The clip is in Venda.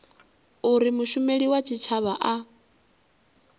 uri mushumeli wa tshitshavha a